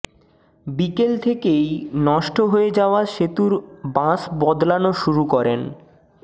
বিকেল থেকেই নষ্ট হয়ে যাওয়া সেতুর বাঁশ বদলানো শুরু করেন